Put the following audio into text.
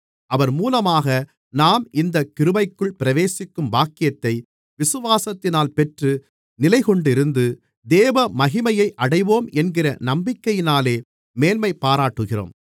அவர் மூலமாக நாம் இந்தக் கிருபைக்குள் பிரவேசிக்கும் பாக்கியத்தை விசுவாசத்தினால் பெற்று நிலைகொண்டிருந்து தேவமகிமையை அடைவோம் என்கிற நம்பிக்கையினாலே மேன்மைபாராட்டுகிறோம்